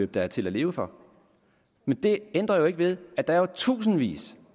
der er til at leve for men det ændrer ikke ved at der er tusindvis